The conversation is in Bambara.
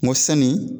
N ko sanni